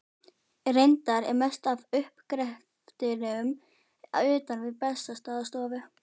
Reyndar er mest af uppgreftrinum utan við Bessastaðastofu.